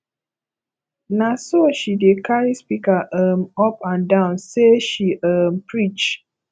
na so she dey carry speaker um up and down sey she um preach